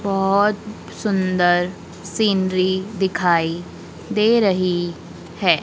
बहोत सुंदर सीनरी दिखाई दे रही है।